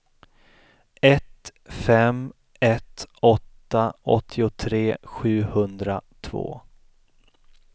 ett fem ett åtta åttiotre sjuhundratvå